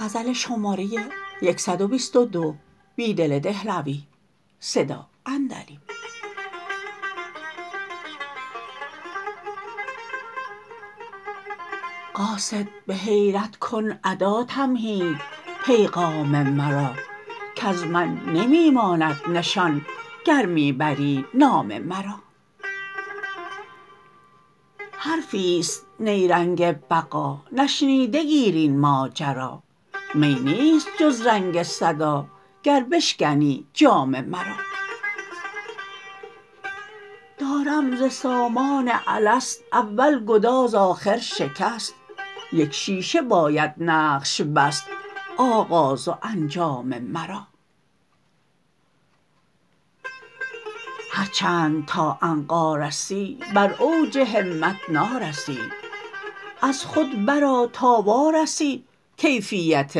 قاصد به حیرت کن ادا تمهید پیغام مرا کز من نمی ماند نشان گر می بری نام مرا حرفی ست نیرنگ بقا نشنیده گیر این ماجرا می نیست جز رنگ صداگر بشکنی جام مرا دارم ز سامان الست اول گداز آخر شکست یک شیشه باید نقش بست آغاز وانجام مرا هرچند تا عنقا رسی براوج همت نارسی از خود برآتا وارسی کیفیت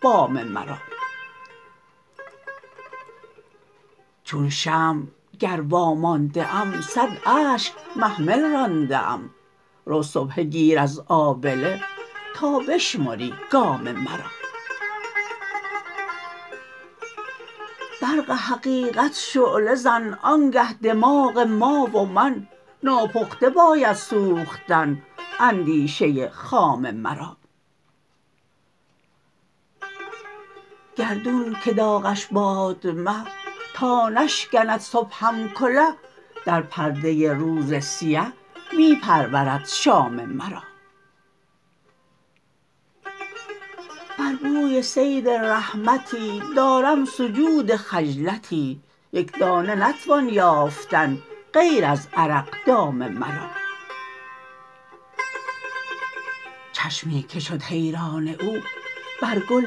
بام مرا چون شمع گر وامانده م صد اشک محمل رانده ام رو سبحه گیر از آبله تا بشمری گام مرا برق حقیقت شعله زن آنگه دماغ ما ومن ناپخته باید سوختن اندیشه خام مرا گردون که داغش باد مه تا نشکند صبحم کله در پرده روز سیه می پرورد شام مرا بر بوی صید رحمتی دارم سجود خجلتی یک دانه نتوان یافتن غیر از عرق دام مرا چشمی که شد حیران او برگل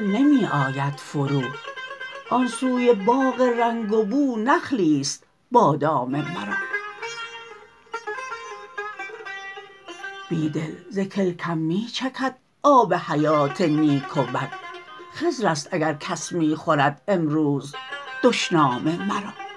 نمی آید فرو آن سوی باغ رنگ و بو نخلی ست بادام مرا بیدل زکلکم می چکد آب حیات نیک و بد خضر است اگرکس می خورد امروز دشنام مرا